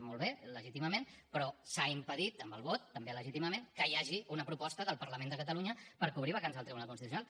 molt bé legítimament però s’ha impedit amb el vot també legítimament que hi hagi una proposta del parlament de catalunya per cobrir vacants al tribunal constitucional